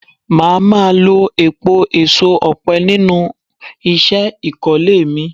Máa má lo èèpo èso ọ̀pẹ nínú isẹ́ ìkólé mi.